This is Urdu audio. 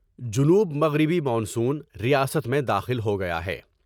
جنوب مغربی مانسون ریاست میں داخل ہو گیا ہے ۔